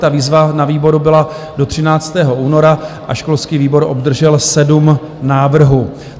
Ta výzva na výboru byla do 13. února a školský výbor obdržel sedm návrhů.